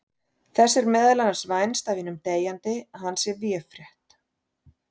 Þess er meðal annars vænst af hinum deyjandi að hann sé véfrétt.